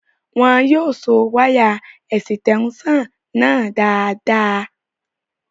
Wọn yóò so wáyà ẹ̀sítẹ́únsàn náà dáadáa